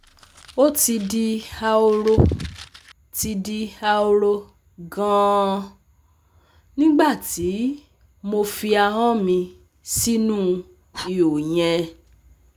ó ti di ahoro ti di ahoro gan-an nígbà tí mo fi ahọ́n mi sínú ihò yẹn